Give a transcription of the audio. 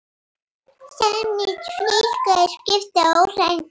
Samnýting flugmóðurskipa óraunhæf